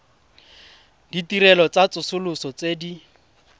ditirelo tsa tsosoloso tse di